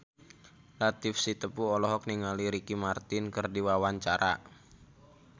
Latief Sitepu olohok ningali Ricky Martin keur diwawancara